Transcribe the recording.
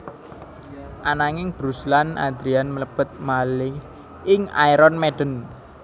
Ananging Bruce lan Adrian mlebet malih ing Iron Maiden